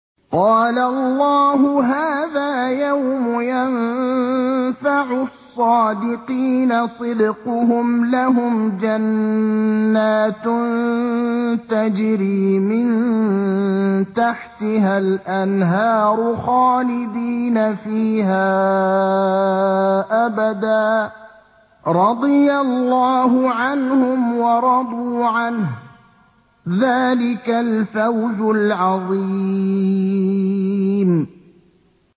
قَالَ اللَّهُ هَٰذَا يَوْمُ يَنفَعُ الصَّادِقِينَ صِدْقُهُمْ ۚ لَهُمْ جَنَّاتٌ تَجْرِي مِن تَحْتِهَا الْأَنْهَارُ خَالِدِينَ فِيهَا أَبَدًا ۚ رَّضِيَ اللَّهُ عَنْهُمْ وَرَضُوا عَنْهُ ۚ ذَٰلِكَ الْفَوْزُ الْعَظِيمُ